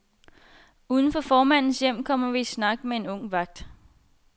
Udenfor formandens hjem, kommer vi i snak med en ung vagt.